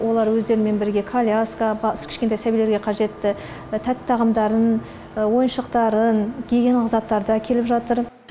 олар өздерімен бірге коляска кішкентай сәбилерге қажетті тәтті тағамдарын ойыншықтарын гигиеналық заттарды әкеліп жатыр